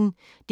DR P1